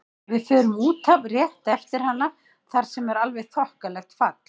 Við förum út af rétt eftir hana þar sem er alveg þokkalegt fall.